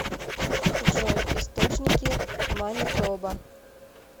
джой источники манитоба